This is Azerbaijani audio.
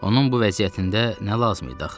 Onun bu vəziyyətində nə lazım idi axı?